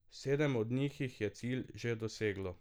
Sedem od njih jih je cilj že doseglo.